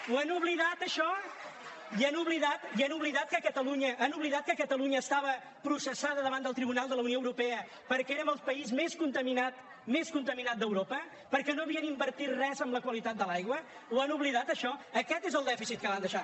ho han oblidat això i han oblidat que catalunya estava processada davant del tribunal de la unió europea perquè érem el país més contaminat d’europa perquè no havien invertit res en la qualitat de l’aigua ho han oblidat això aquest és el dèficit que van deixar